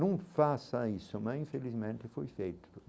Não faça isso, mas infelizmente foi feito.